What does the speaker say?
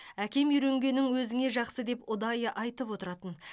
әкем үйренгенің өзіңе жақсы деп ұдайы айтып отыратын